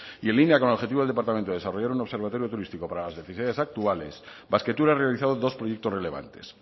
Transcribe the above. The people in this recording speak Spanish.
y en línea con el objetivo del departamento de desarrollar un observatorio turístico para las necesidades actuales basquetour ha realizado dos proyectos relevantes